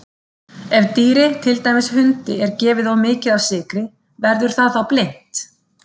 Ef dýri, til dæmis hundi, er gefið of mikið af sykri verður það þá blint?